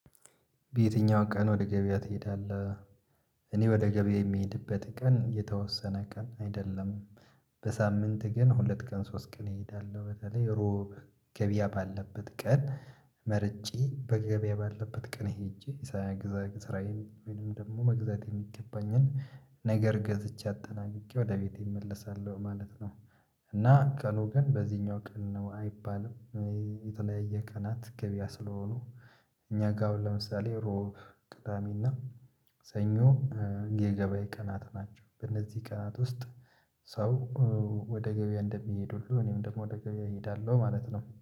በየትኛው ቀን ወደ ገበያ ትሄዳለህ? እኔ ወደ ገበያ የምሄድበት ቀን የተወሰነ ቀን አይደለም። በሳምንት ግን ሁለት ቀን ሶስት ቀን እሄዳለሁ በተለይ እሮብ ገበያ ባለበት ቀን መርጬ በገበያ ባለበት ቀን ሄጄ ሳያግዛግዝ ስራዬን ወይንም ደግሞ መግዛት የሚገባኝን ነገር ገዝቼ አጠናብቄ ወደ ቤቴ እመልሳለሁ ማለት ነው። እና ቀኑ ግን በዚህኛው ቀን ነው አይባልም። የተለያየ ቀናት ገበያ ስለሆኑ። እኛ ጋር ለምሳሌ እሮብ ቅዳሜና ሰኞ የገበያ ቀናት ናቸው። በእነዚህ ቀናት ውስጥ ሰው ወደ ገበያ እንደሚሄድ ሁሉ እኔም ደግሞ ወደ ገበያ እሄዳለሁ ማለት ነው